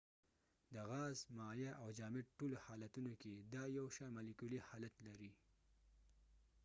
د غاز ،مایع او جامد ټولو حالتونو کې دا یو شان مالیکولی حالت لري